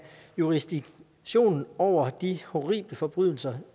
jurisdiktion over de horrible forbrydelser